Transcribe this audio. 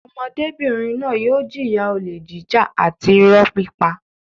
Ọmọdébìnrin náà yóò jìyà olè jíjà àti ìrọ́ pípa.